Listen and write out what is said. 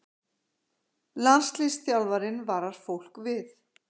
Landsliðsþjálfarinn varar fólk við